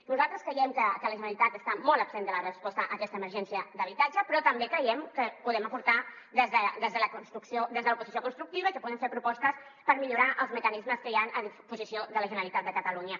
nosaltres creiem que la generalitat està molt absent de la resposta a aquesta emergència d’habitatge però també creiem que hi podem aportar des de l’oposició constructiva i que podem fer propostes per millorar els mecanismes que hi han a disposició de la generalitat de catalunya